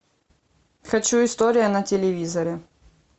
хочу история на телевизоре